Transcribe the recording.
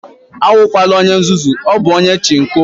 Awukwala onye nzuzu, ọ bụ onye Chinko